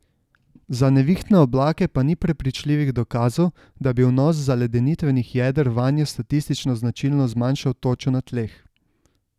Za nevihtne oblake pa ni prepričljivih dokazov, da bi vnos zaledenitvenih jeder vanje statistično značilno zmanjšal točo na tleh.